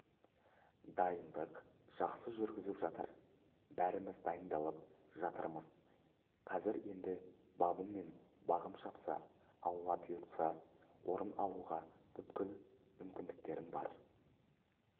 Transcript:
дайындық жақсы жүріп жатыр бәріміз дайындалып жатырмыз қазір енді бабым мен бағым шапса алла бұйырса орын алуға бүкіл мүмкіндіктерім бар